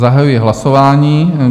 Zahajuji hlasování.